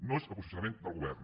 no és el posicionament del govern